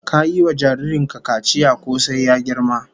Ka yi wa jarrin ka kaciya ko sai ya girma?